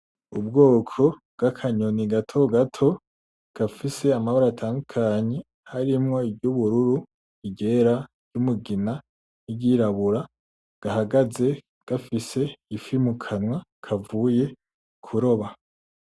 Ubwoko bw'akanyoni gato gato gafise amabara atandukanye harimwo iryubururu, iryera, iry'umugina, n'iryirabura gahagaze gafise ifi mukanwa kavuye kuroba.